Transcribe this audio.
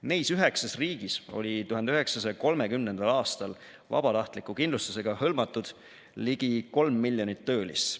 Neis 9 riigis oli 1930. aastal vabatahtliku kindlustusega hõlmatud ligi 3 miljonit töölist.